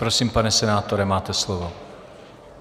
Prosím, pane senátore, máte slovo.